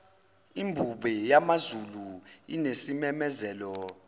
imbube yamazulu inesimemezelo